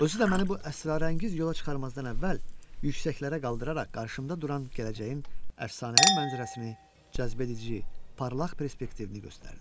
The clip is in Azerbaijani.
Özü də məni bu əsrarəngiz yola çıxarmazdan əvvəl yüksəklərə qaldıraraq qarşımda duran gələcəyin əfsanəvi mənzərəsini cəzbedici, parlaq perspektivini göstərdi.